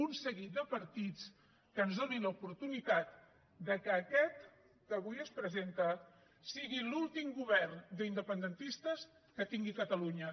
un seguit de partits que ens donin l’oportunitat que aquest que avui es presenta sigui l’últim govern d’independentistes que tingui catalunya